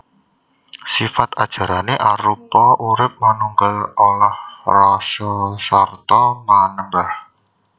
Sifat ajarané arupa urip manunggal olah rasasarta manembah